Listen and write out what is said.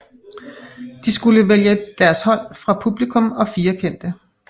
De skulle vælge deres hold fra publikum og 4 kendte